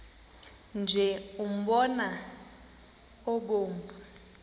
nje umbona obomvu